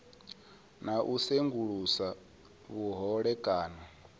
na u sengulusa vhuhole kana